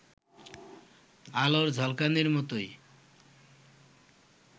আলোর ঝলকানির মতোই